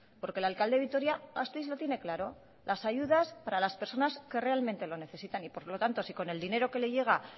porque el alcalde de vitoria gasteiz lo tiene claro las ayudas para las personas que realmente lo necesitan y por lo tanto si con el dinero que le llega